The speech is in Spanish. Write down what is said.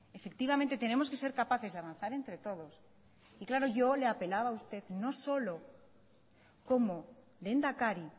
efectivamente tenemos que ser capaces de avanzar entre todos y claro yo le apelaba a usted no solo como lehendakari